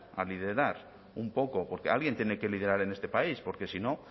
a liderar un poco porque alguien tiene que liderar en este país porque si no